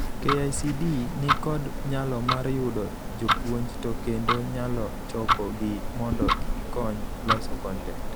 KICD ni kod nyalo mar yudo jopuonj to kendo nyalo choko gi mondo gikony loso kontent.